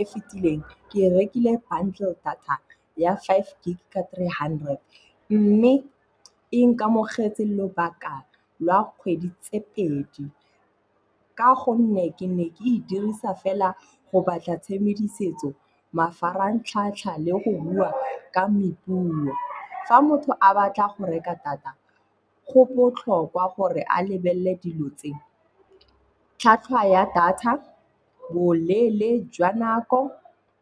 E fitileng ke rekile bundle data ya five gig ka three hundred. Mme e nkamogetse lobaka lwa kgwedi tse pedi ka gonne ke ne ke e dirisa fela go batla tshedimosetso, mafaratlhatlha le go bua ka mepuo. Fa motho a batla go reka data, go botlhokwa gore a lebelele dilo tse. Tlhwatlhwa ya data, boleele jwa nako,